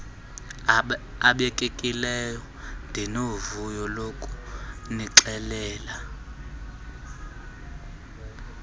abekekileyo ndinovuyo lokunixelela